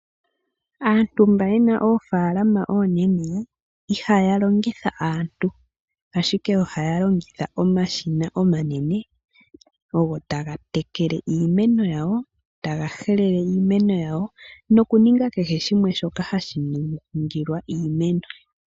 Aantu mba yena oofaalama oonene ihaya longitha aantu, ashike ohaya longitha omashina omanene ogo taga tekele iimeno yawo, taga helele iimeno yawo noku ninga kehe shimwe shoka hashi ningilwa iimeno.